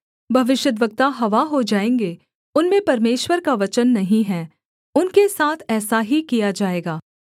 भविष्यद्वक्ता हवा हो जाएँगे उनमें परमेश्वर का वचन नहीं है उनके साथ ऐसा ही किया जाएगा